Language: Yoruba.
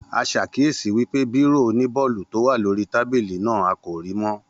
A ṣàkíyèsí wípé bírò oní bọọlu tó wà lórí tábìlì náà, a kò rí mọ́